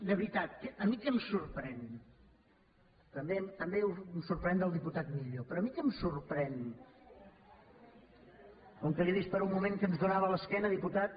de veritat a mi què em sorprèn també em sorprèn del diputat millo però a mi què em sorprèn com que l’he vist per un moment que ens donava l’esquena diputat